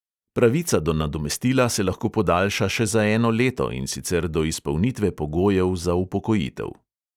Pravica do nadomestila se lahko podaljša še za eno leto, in sicer do izpolnitve pogojev za upokojitev.